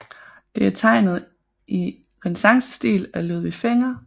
Det er tegnet i renæssancestil af Ludvig Fenger